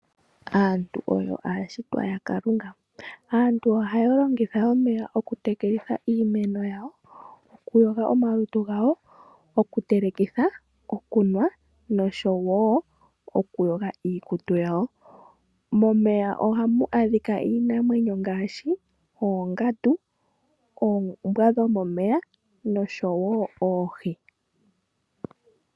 Aantu oyo aashitwa yaKalunga. Aantu ohaya longitha omeya okutekelitha iimeno yawo, okuyoga omalutu gawo, okutelekitha, okunwa osho wo okuyoga iikutu yawo. Momeya ohamu adhika iinamwenyo ngaashi oongandu, oombwa dhomomeya noshowo oohi.